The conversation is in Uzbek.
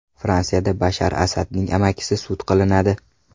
Fransiyada Bashar Asadning amakisi sud qilinadi.